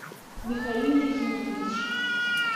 михаиле юрьевиче